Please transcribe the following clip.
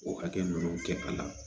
O hakɛ ninnu kɛ a la